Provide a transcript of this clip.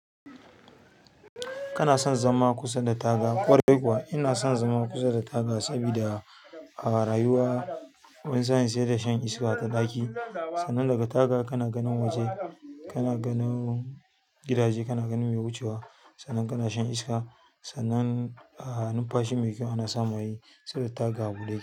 Kana son zama kusa da taga? Ƙwarai kuwa, ina son zama kusa da taga sabida a rayuwa wani sa'in sai da shan iska ta ɗaki. Sannan daga taga kana ganin waje, kana ganin gidaje, kana ganin me wucewa. Sannan kana shan iska. Sannan, a nun fashi mai kyau ana samai saboda taga buɗe ke.